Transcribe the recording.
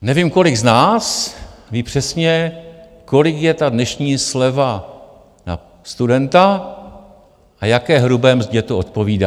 Nevím, kolik z nás ví přesně, kolik je ta dnešní sleva na studenta a jaké hrubě mzdě to odpovídá.